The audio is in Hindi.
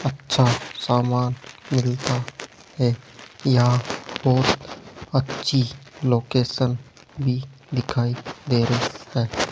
अच्छा समान मिलता है यहां बहोत अच्छी लोकेशन भी दिखाई दे रही है।